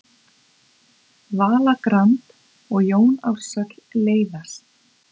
Vala Grand og Jón Ársæll leiðast